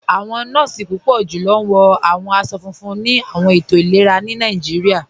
Awọn nọọ̀si púpọ̀ julọ wọ̀ awọn aṣọ̀ fúnfún ni awọn ètò ilẹ̀rà ni Nàìjíríà.